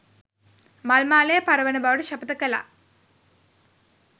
මල් මාලය පර වන බවට ශපථ කළා